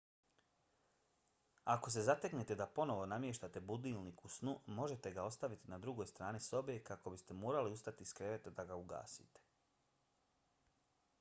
ako se zateknete da ponovo namještate budilnik u snu možete ga ostaviti na drugoj strani sobe kako biste morali ustati iz kreveta da ga ugasite